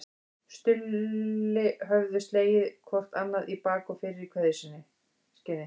Stulli höfðu slegið hvor annan í bak og fyrir í kveðjuskyni.